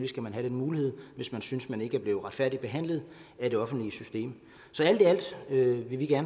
skal man have den mulighed hvis man synes man ikke er blevet retfærdigt behandlet af det offentlige system så alt i alt vil vi